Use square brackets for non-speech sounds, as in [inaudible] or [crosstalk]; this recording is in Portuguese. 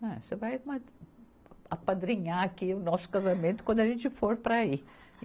Ah, você vai [unintelligible] apadrinhar aqui o nosso casamento quando a gente for para aí.